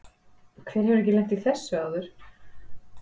Hver hefur ekki lent í þessu áður?